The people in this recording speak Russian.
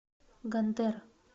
гондэр